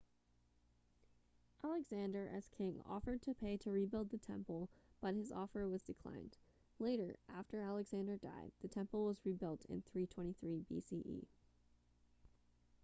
alexander as king offered to pay to rebuild the temple but his offer was denied later after alexander died the temple was rebuilt in 323 bce